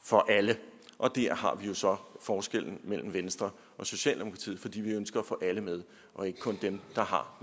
for alle og der har vi jo så forskellen mellem venstre og socialdemokratiet for vi ønsker at få alle med og ikke kun dem der har